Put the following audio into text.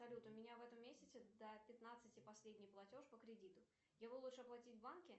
салют у меня в этом месяце до пятнадцати последний платеж по кредиту его лучше оплатить в банке